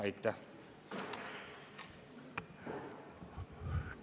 Aitäh!